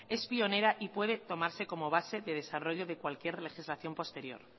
es pionera y puede tomarse como base de desarrollo de cualquier legislación posterior